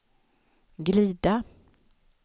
glida